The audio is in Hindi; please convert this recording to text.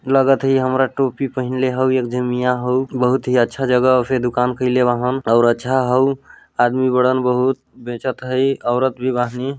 लगत है हमारा टोपी पहिनले हाउ एक झन मिया हाउ बहुत ही अच्छा जगह से दुकान कईले वहन और अच्छा हाउ आदमी बड़न बहुत बेचत है औरत भी बाहनी।